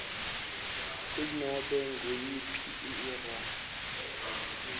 kunobe nguyiphi irro